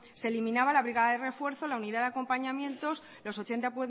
se eliminaba la brigada de refuerzo la unidad de acompañamientos los ochenta